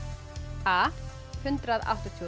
a hundrað áttatíu og